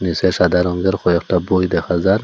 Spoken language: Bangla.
নীসে সাদা রঙ্গের কয়েকটি বই দেখা যাক ।